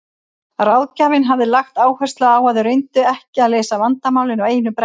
Ráðgjafinn hafði lagt áherslu á að þau reyndu ekki að leysa vandamálin á einu bretti.